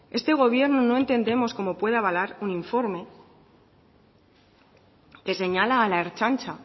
eta este gobierno no entendemos cómo puede avalar un informe que señala a la ertzaintza